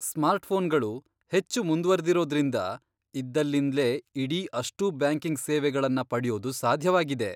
ಸ್ಮಾರ್ಟ್ಫೋನ್ಗಳು ಹೆಚ್ಚು ಮುಂದ್ವರ್ದಿರೋದ್ರಿಂದ ಇದ್ದಲ್ಲಿಂದ್ಲೇ ಇಡೀ ಅಷ್ಟೂ ಬ್ಯಾಂಕಿಂಗ್ ಸೇವೆಗಳನ್ನ ಪಡ್ಯೋದು ಸಾಧ್ಯವಾಗಿದೆ.